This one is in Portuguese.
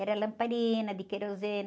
Era lamparina de querosene.